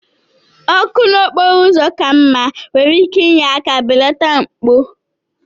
Ọkụ n'okporo ụzọ ka mma nwere ike inye aka belata mpụ